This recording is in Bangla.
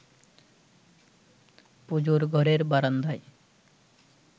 পুজোর ঘরের বারান্দায়